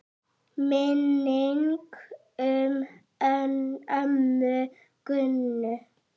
Minning um ömmu Gummu.